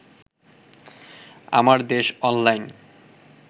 Amardesh online